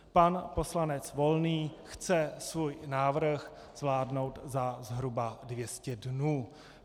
Pan poslanec Volný chce svůj návrh zvládnout za zhruba 200 dnů.